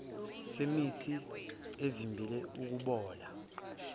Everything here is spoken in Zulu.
semithi evimbela ukubola